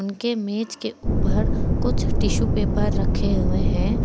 उनके मेज के ऊपर कुछ टिशू पेपर रखे हुए हैं।